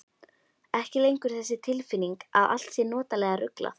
Ekki lengur þessi tilfinning að allt sé notalega ruglað.